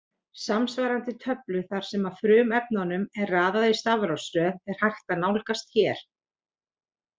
Samsvarandi töflu þar sem frumefnunum er raðað í stafrófsröð er hægt að nálgast hér.